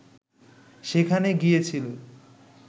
সেখানে গিয়েছিল